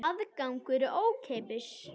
Aðgangur er ókeypis